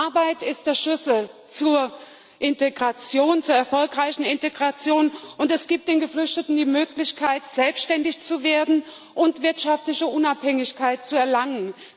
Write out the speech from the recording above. Arbeit ist der Schlüssel zur erfolgreichen Integration und gibt den Geflüchteten die Möglichkeit, selbständig zu werden und wirtschaftliche Unabhängigkeit zu erlangen.